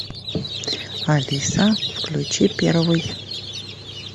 алиса включи первый